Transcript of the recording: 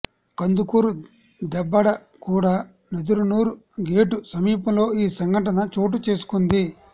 Kandukur Debbadaguda Nedaranur gate సమీపంలో ఈ ఘటన చోటు చేసుకుంది